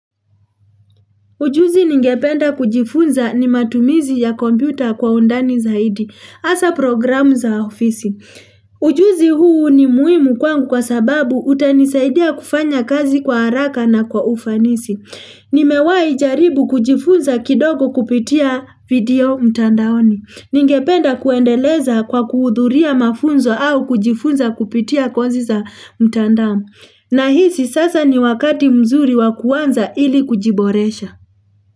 Ujuzi ningependa kujifunza ni matumizi ya kompyuta kwa undani zaidi. Hasa programu za ofisi. Ujuzi huu ni muhimu kwangu kwa sababu utanisaidia kufanya kazi kwa haraka na kwa ufanisi. Nimewahi jaribu kujifunza kidogo kupitia video mtandaoni. Ningependa kuendeleza kwa kuhudhuria mafunzo au kujifunza kupitia kosi za mtandao. Na hisi sasa ni wakati mzuri wakuanza ili kujiboresha.